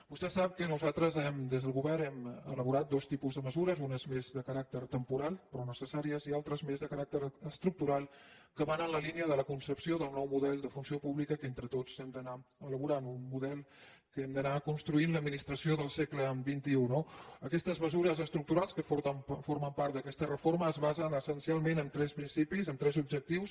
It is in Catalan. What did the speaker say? vostè sap que nosaltres des del govern hem elaborat dos tipus de mesures unes més de caràcter temporal però necessàries i altres més de caràcter estructural que van en la línia de la concepció del nou model de funció pública que entre tots hem d’anar elaborant un model amb què hem d’anar construint l’administració del segle xxique formen part d’aquesta reforma es basen essencialment en tres principis en tres objectius